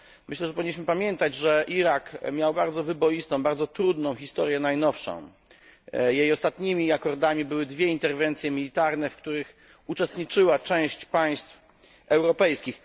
Myślę, że powinniśmy pamiętać, że Irak miał bardzo wyboistą, bardzo trudną historię najnowszą, jej ostatnimi akordami były dwie interwencje militarne, w których uczestniczyła część państw europejskich.